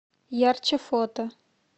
ярче фото